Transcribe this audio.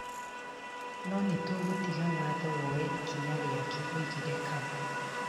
Na nĩtũgũtiga watho woye ikinya riake," augire Kagwe.